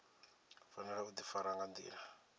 fanela u difara nga ndila